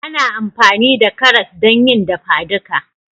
Ana amfani da karas don yi dafadika